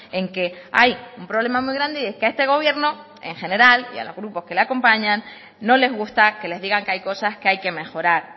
en que hay un problema muy grande y es que a este gobierno en general y a los grupos que los acompañan no les gusta que les digan que hay cosas que hay que mejorar